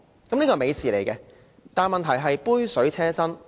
這是一件美事，但問題是杯水車薪。